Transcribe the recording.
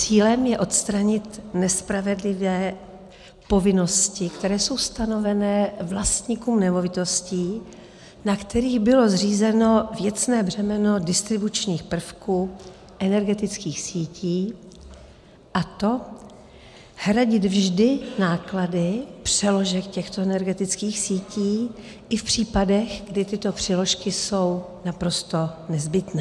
Cílem je odstranit nespravedlivé povinnosti, které jsou stanovené vlastníkům nemovitostí, na kterých bylo zřízeno věcné břemeno distribučních prvků energetických sítí, a to hradit vždy náklady přeložek těchto energetických sítí i v případech, kdy tyto přeložky jsou naprosto nezbytné.